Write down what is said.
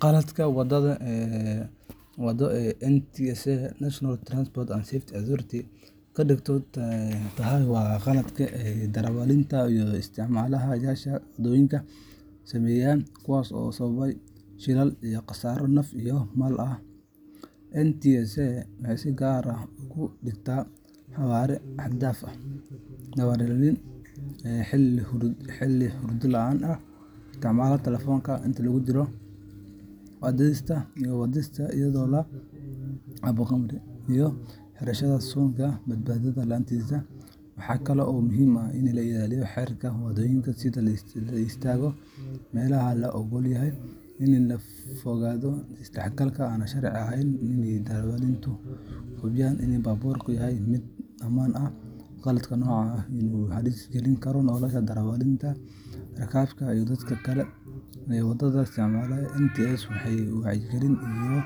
Qaladka waddo ee ay NTSA National Transport and Safety Authority ka digto tahay waa khaladaad ay darawaliinta iyo isticmaale-yaasha waddooyinka sameeyaan kuwaas oo sababa shilal iyo khasaaro naf iyo maalba leh. NTSA waxay si gaar ah uga digtaa xawaare xad-dhaaf ah, darawalnimo xilli hurdo la’aan ah, isticmaalka telefoonka inta lagu jiro wadista, wadista iyadoo la cabo khamri, iyo xirashada suunka badbaadada la’aantiisa. Waxaa kale oo muhiim ah in la ilaaliyo xeerarka waddooyinka sida in la istaago meelaha la oggol yahay, in laga fogaado is-dhexgal aan sharci ahayn iyo in darawaliintu hubiyaan in baabuurkoodu yahay mid ammaan ah. Qaladka noocan ah wuxuu halis gelin karaa nolosha darawalka, rakaabka iyo dadka kale ee waddada isticmaalaya. NTSA waxay wacyigelin iyo